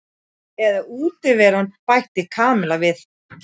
Eða útiveran bætti Kamilla við.